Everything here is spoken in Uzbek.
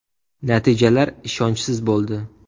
Natijalar ishonchsiz bo‘ldi.